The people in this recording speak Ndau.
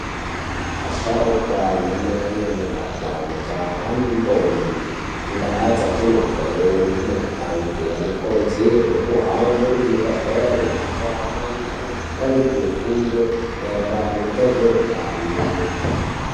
Vasharukwa vana mai ana baba majaha nendombi mundaa dzatinobveyo nemuma kange ano kurudzirwa kuhambe kuzvibhedhlera uko amweni anopangidze fundo mairirano ngezveutano.